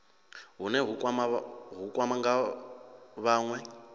hune hu nga kwama vhanwe